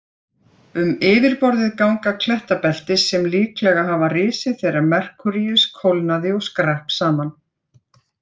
Um yfirborðið ganga klettabelti sem líklega hafa risið þegar Merkúríus kólnaði og skrapp saman.